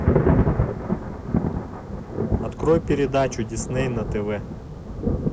открой передачу дисней на тв